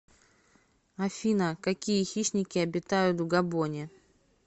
афина какие хищники обитают в габоне